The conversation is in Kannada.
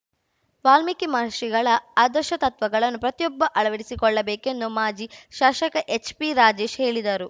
ವಾಲ್ಮೀಕಿ ಮಹರ್ಷಿಗಳ ಆದರ್ಶ ತತ್ವಗಳನ್ನು ಪ್ರತಿಯೊಬ್ಬ ಅಳವಡಿಸಿಕೊಳ್ಳಬೇಕೆಂದು ಮಾಜಿ ಶಾಶಕ ಎಚ್‌ಪಿರಾಜೇಶ್‌ ಹೇಳಿದರು